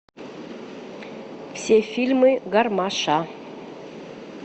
все фильмы гармаша